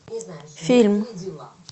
фильм